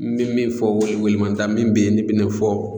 N bɛ min fɔ, welewelemada min bɛ yen ne bɛ no fɔ.